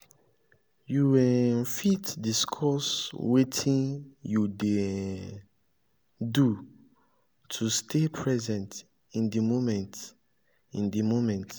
you um fit discuss wetin you dey um do to stay present in di moment. in di moment.